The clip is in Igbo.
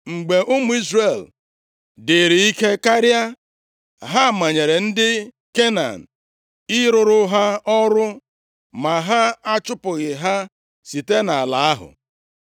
Mgbe ụmụ Izrel dịrị ike karịa, ha manyere ndị Kenan ị rụrụ ha ọrụ, ma ha achụpụghị ha site nʼala ahụ.